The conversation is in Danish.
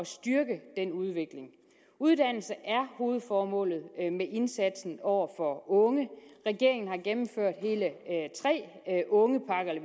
styrke den udvikling uddannelse er hovedformålet med indsatsen over for unge regeringen har gennemført hele tre ungepakker eller